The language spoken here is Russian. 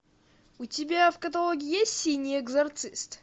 у тебя в каталоге есть синий экзорцист